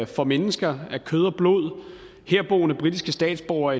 for mennesker af kød og blod herboende britiske statsborgere